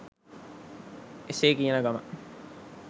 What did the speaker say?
එසේ කියන ගමන්